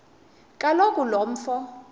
kaloku lo mfo